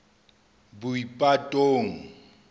boipatong